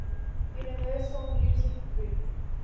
universal music group